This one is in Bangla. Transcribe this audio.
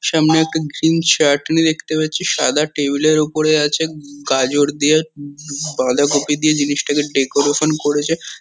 সামনে একটা গ্রীন শার্ট আমি দেখতে পাচ্ছি। সাদা টেবিল -এর ওপরে আছে গাজর দিয়ে বাঁধাকপি দিয়ে জিনিসটাকে ডেকোরেশন করেছে।